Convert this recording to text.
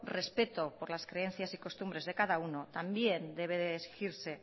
respeto por las creencias y costumbres de cada uno también debe de exigirse